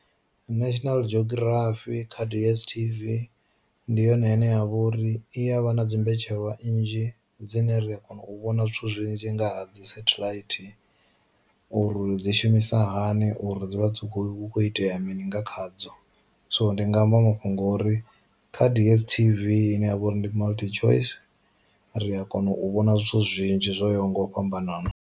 National Geography kha DSTV, ndi yone ine ya vha uri iya vha na dzi mbetshelwa nnzhi dzine ri a kona u vhona zwithu zwinzhi nga ha dzi satellite uri dzi shumisa sa hani uri dzi vha dzi khou hu kho itea mini nga khadzo. So ndi nga amba ma fhungori kha dstv ine yavha uri ndi Multichoice, ri a kona u vhona zwithu zwinzhi zwo yaho nga u fhambanana.